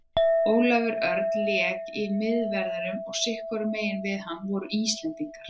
Ólafur Örn lék í miðverðinum og sitthvorum megin við hann voru Íslendingar.